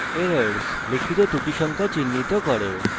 errors –আপনার দ্বারা লিখিত ত্রুটি সংখ্যা চিহ্নিত করে